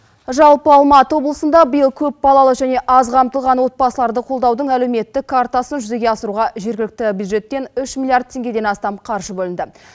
жалпы алматы облысында биыл көп балалы және аз қамтылған отбасыларды қолдаудың әлеуметтік картасын жүзеге асыруға жергілікті бюджеттен үш миллиард теғгеден астам қаржы бөлінді